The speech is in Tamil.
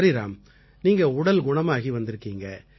சரி ராம் நீங்க உடல் குணமாகி வந்திருக்கீங்க